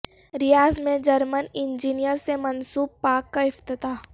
ریاض میں German engineer سے منسوب پارک کا افتتاح